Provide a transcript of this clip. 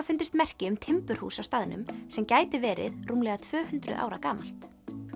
fundist merki um timburhús á staðnum sem gæti verið rúmlega tvö hundruð ára gamalt